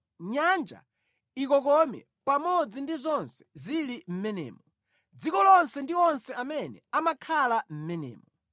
Nyanja ikokome pamodzi ndi zonse zili mʼmenemo, dziko lonse ndi onse amene amakhala mʼmenemo.